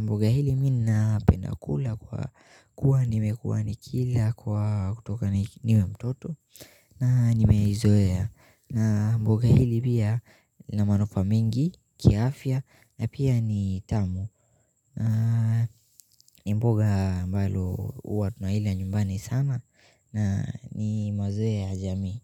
mboga hili mi na penda kula kwa kuwa nimekuwa nikila kwa kutoka niwe mtoto na nimeizoea mboga hili pia ina manufaa mingi, kiafya na pia ni tamu na ni mboga ambalo huwa tunaila nyumbani sana na ni mazoea ya jamii.